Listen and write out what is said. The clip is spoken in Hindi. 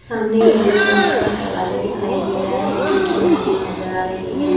सामने यलो रंग का दरवाजा दिखाई दे रहा है खिड़कियां लगी हुई नजर आ रही है।